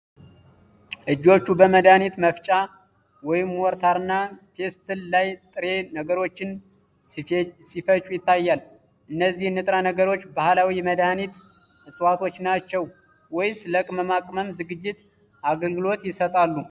እጆቹ በመድኃኒት መፍጫ (ሞርታርና ፔስትል) ላይ ጥሬ ነገሮችን ሲፈጩ ይታያል። እነዚህ ንጥረ ነገሮች ባህላዊ የመድኃኒት ዕፅዋት ናቸው ወይስ ለቅመማ ቅመም ዝግጅት አገልግሎት ይሰጣሉ?